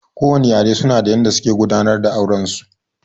Kowane yare su na da yanda suke gudanar da auren su